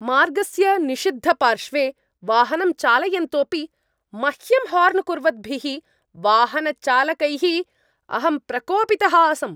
मार्गस्य निषिद्धपार्श्वे वाहनं चालयन्तोपि मह्यं हार्न् कुर्वद्भिः वाहनचालकैः अहं प्रकोपितः आसम्।